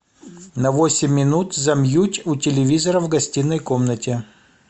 на восемь минут замьють у телевизора в гостиной комнате